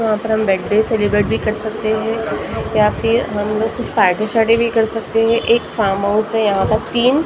वहां पर हम बर्थडे सेलिब्रेट भी कर सकते हैं यहां पे हम लोग कुछ पार्टी शार्टी भी कर सकते हैं एक फार्म हाउस है यहां पर तीन --